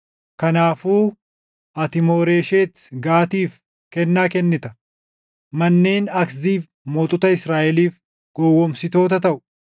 Kanaafuu ati Mooresheet Gaatiif kennaa kennita. Manneen Akziib mootota Israaʼeliif gowwoomsitoota taʼu.